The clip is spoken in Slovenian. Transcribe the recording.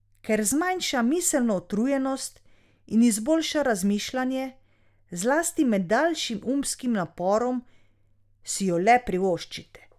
Ker zmanjša miselno utrujenost in izboljša razmišljanje, zlasti med daljšim umskim naporom, si jo le privoščite.